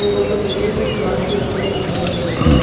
Table पर देखिए कुछ ग्लास भी रखे हुए दिखाई दे रहे हैं।